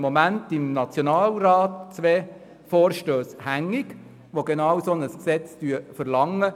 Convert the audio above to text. Im Moment sind im Nationalrat zwei Vorstösse hängig, die genau ein solches Gesetz verlangen.